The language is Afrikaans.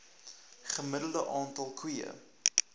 gemiddelde aantal koeie